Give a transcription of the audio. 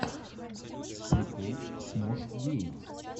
прикол смош геймс